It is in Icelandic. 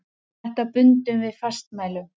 Þetta bundum við fastmælum.